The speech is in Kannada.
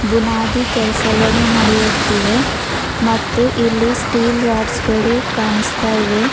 ಬುನಾದಿ ಕೆಲ್ಸಗನು ನಡಿಯುತ್ತಿವೆ ಮತ್ತು ಇಲ್ಲಿ ಸ್ಟೀಲ್ ರಾಡ್ಸ ಗಳು ಕಾಣಸ್ತಾ ಇವೆ.